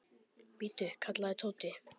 Bíddu! kallaði Tóti.